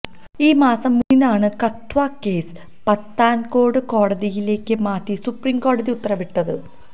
ഈ മാസം മൂന്നിനാണ് കത്വ കേസ് പത്താന്കോട്ട് കോടതിയിലേക്ക് മാറ്റി സുപ്രീം കോടതി ഉത്തരവിട്ടത്